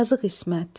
Yazıq İsmət.